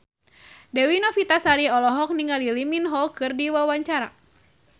Dewi Novitasari olohok ningali Lee Min Ho keur diwawancara